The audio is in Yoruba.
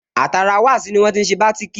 Àtara wasi ní wọ́n tí n ṣe bátìkì